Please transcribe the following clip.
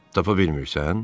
tapa bilmirsən?